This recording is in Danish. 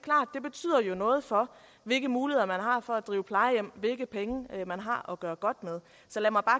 er jo noget for hvilke muligheder man har for at drive plejehjem og gøre godt med så lad mig bare